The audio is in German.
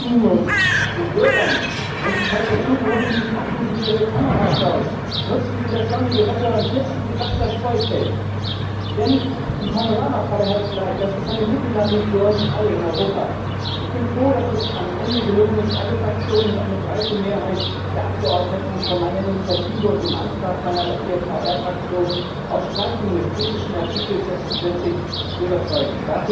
Liebe Kolleginnen, liebe Kollegen! Den Fotografen, Journalisten und den Bürgern möchte ich heute zurufen Packen Sie Ihre Kameras aus, nutzen Sie das sonnige Wetter und knipsen Sie, was das Zeug hält! Denn die Panoramafreiheit bleibt. Das ist eine gute Nachricht für uns alle in Europa. Ich bin froh, dass es am Ende gelungen ist, alle Fraktionen und eine breite Mehrheit der Abgeordneten von meiner Initiative und dem Antrag meiner EKR Fraktion auf Streichung der kritischen Ziffer 46 zu überzeugen.